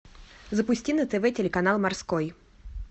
запусти на тв телеканал морской